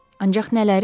Ancaq nələri?